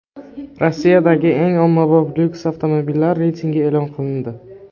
Rossiyadagi eng ommabop lyuks avtomobillar reytingi e’lon qilindi.